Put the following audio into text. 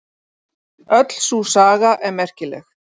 Öll sú saga er merkileg.